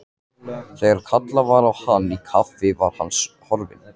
Þegar kallað var á hann í kaffi var hann horfinn.